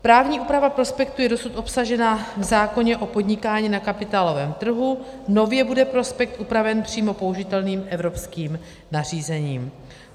Právní úprava prospektu je dosud obsažena v zákoně o podnikání na kapitálovém trhu, nově bude prospekt upraven přímo použitelným evropským nařízením.